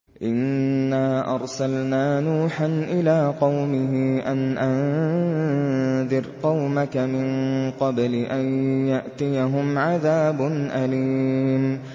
إِنَّا أَرْسَلْنَا نُوحًا إِلَىٰ قَوْمِهِ أَنْ أَنذِرْ قَوْمَكَ مِن قَبْلِ أَن يَأْتِيَهُمْ عَذَابٌ أَلِيمٌ